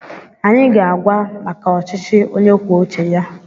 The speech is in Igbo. Anyị ga-agwa maka ọchịchị onye kwuo uche ya.